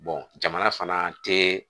jamana fana tɛ